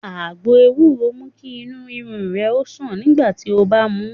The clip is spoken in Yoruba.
Àgbo ewúro mú kí Inú ríru rè o sàn nígbà tí ó mu ú